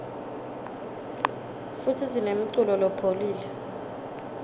futsi sinemuculo lepholile